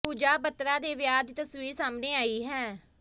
ਪੂਜਾ ਬੱਤਰਾ ਦੇ ਵਿਆਹ ਦੀ ਤਸਵੀਰ ਸਾਹਮਣੇ ਆਈ ਹੈ